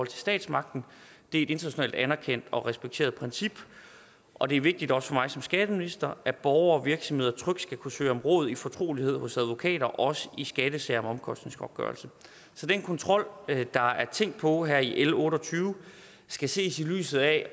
til statsmagten det er et internationalt anerkendt og respekteret princip og det er vigtigt også for mig som skatteminister at borgere og virksomheder trygt skal kunne søge om råd i fortrolighed hos advokater også i skattesager om omkostningsgodtgørelse så den kontrol der er tænkt på her i l otte og tyve skal ses i lyset af